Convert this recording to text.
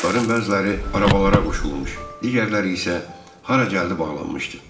Atların bəziləri arabalara qoşulmuş, digərləri isə hara gəldi bağlanmışdı.